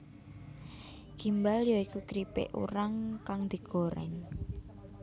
Gimbal ya iku kripik urang kang digoreng